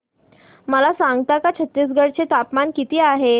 मला सांगता का छत्तीसगढ चे तापमान किती आहे